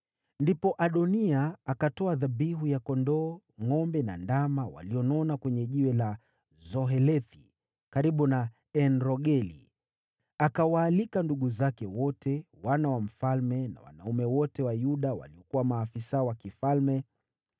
Ndipo Adoniya akatoa dhabihu ya kondoo, ngʼombe na ndama walionona kwenye Jiwe la Zohelethi karibu na En-Rogeli. Akawaalika ndugu zake wote, wana wa mfalme na wanaume wote wa Yuda waliokuwa maafisa wa mfalme,